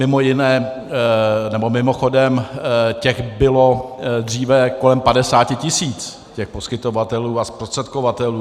Mimochodem, těch bylo dříve kolem 50 tisíc, těch poskytovatelů a zprostředkovatelů.